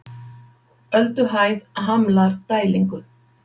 Ölduhæð hamlar dælingu